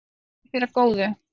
Verði þér að góðu.